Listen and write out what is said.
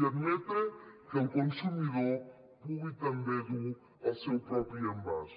i admetre que el consumidor pugui també dur el seu propi envàs